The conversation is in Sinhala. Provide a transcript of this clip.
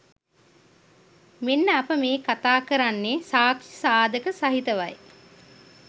මෙන්න අප මේ කතා කරන්නේ සාක්‍ෂි සාධක සහිතවයි.